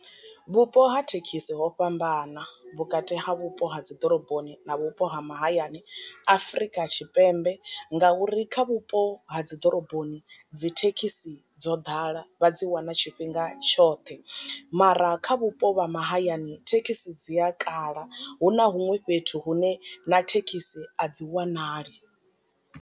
Vhupo ha thekhisi ho fhambana vhukati ha vhupo ha dzi ḓoroboni na vhupo ha mahayani afrika tshipembe, ngauri kha vhupo ha dzi ḓoroboni dzi thekhisi dzo ḓala vha dzi wana tshifhinga tshoṱhe mara kha vhupo vha mahayani thekhisi dzi a kala hu na huṅwe fhethu hune na thekhisi a dzi wanali.